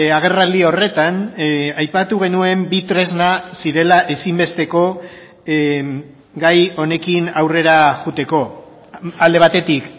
agerraldi horretan aipatu genuen bi tresna zirela ezinbesteko gai honekin aurrera joateko alde batetik